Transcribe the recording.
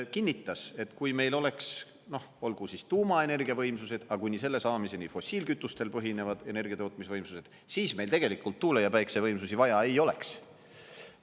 Kinnitas, et kui meil oleks, noh olgu siis tuumaenergiavõimsused, aga kuni selle saamiseni fossiilkütustel põhinevad energiatootmisvõimsused, siis meil tegelikult tuule‑ ja päikesevõimsusi vaja ei oleks.